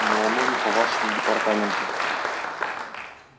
но оно не по нашему департаменту